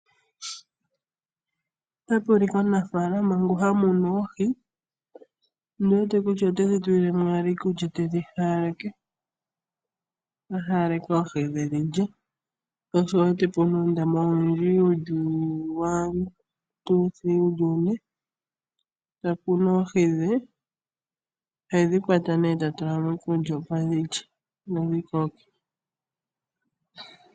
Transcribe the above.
Otapu ulikwa omunafaalama ngono ha munu oohi. Ota haaleke oohi dhe iikulya, dhi lye. Sho osho wu wete pu na uundama wu li une, ta kunu oohi dhe. Ohedhi kwata nee ta kunu oohi dhe, ta tula mo iikulya, opo dhi lye dho dhi koke.